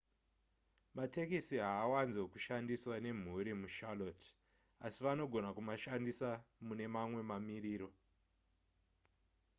matekisi haawanzo kushandisiwa nemhuri mucharlotte asi vanogona kumashandisa mune mamwe mamiriro